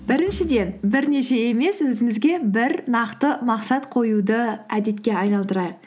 біріншіден бірнеше емес өзімізге бір нақты мақсат қоюды әдетке айналдырайық